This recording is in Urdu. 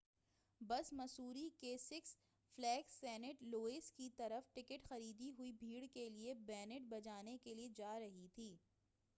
بس مسوری کے سکس فلیگ سینٹ لوئس کی طرف ٹکٹ خریدی ہوئی بھیڑ کے لئے بینڈ بجانے کے لئے جارہی تھی